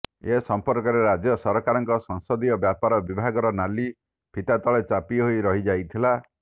ଏ ସଂପର୍କରେ ରାଜ୍ୟ ସରକାରଙ୍କ ସଂସଦୀୟ ବ୍ୟାପାର ବିଭାଗର ନାଲି ଫିତା ତଳେ ଚାପି ହୋଇ ରହି ଯାଇଥିଲା